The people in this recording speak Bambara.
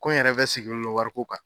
Ko in yɛrɛ bɛ sigilen don wari ko kan